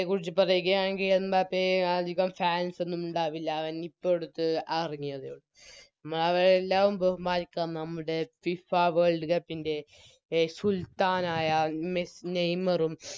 യെക്കുറിച്ച് പറയുകയാണെങ്കിൽ എംബാപ്പയെ അതികം Fans ഒന്നും ഉണ്ടാവില്ല അവനിപ്പോട്ത്ത് അറങ്ങിയതേയുള്ളു അവരെയെല്ലാം ബഹുമാനിക്കാം നമ്മുടെ FIFA World cup ൻറെ എ സുൽത്താനായ നെയ്‌മറും